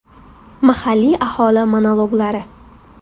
Mahalliy aholi monologlari.